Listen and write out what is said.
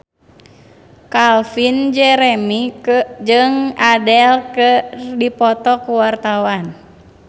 Calvin Jeremy jeung Adele keur dipoto ku wartawan